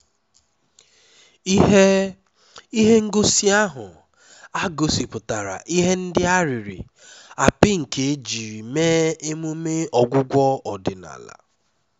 ihe ihe ngosi ahụ gosipụtara ihe ndị a pịrị apị nke ejiri mee emume ọgwụgwọ ọdịnala